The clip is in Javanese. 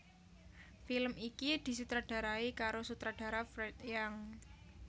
Film iki disutradarai karo sutradara Fred Young